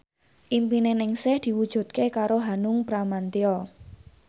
impine Ningsih diwujudke karo Hanung Bramantyo